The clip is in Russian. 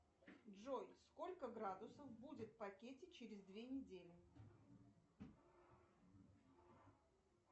джой сколько градусов будет в пакете через две недели